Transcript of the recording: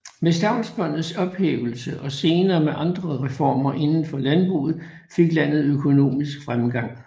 Med stavnsbåndets ophævelse og senere med andre reformer inden for landbruget fik landet økonomisk fremgang